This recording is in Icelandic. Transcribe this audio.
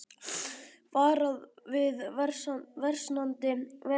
Varað við versnandi veðri